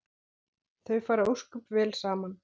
Þau fara ósköp vel saman